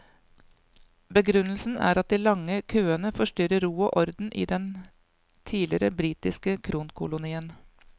Begrunnelsen er at de lange køene forstyrrer ro og orden i den tidligere britiske kronkolonien.